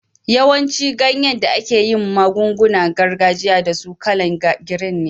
Yawancin ganyen da ake yin magun-gunan gargajiya da su kala'n girin ne.